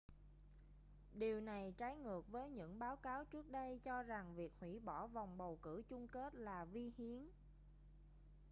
điều này trái ngược với những báo cáo trước đây cho rằng việc hủy bỏ vòng bầu cử chung kết là vi hiến